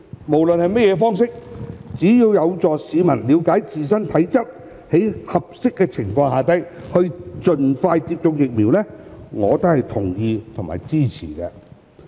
無論是甚麼方式，只要有助市民在了解自身體質並在合適的情況下盡快接種疫苗，我都是同意和支持的。